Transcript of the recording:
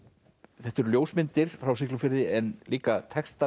þetta eru ljósmyndir frá Siglufirði en líka textar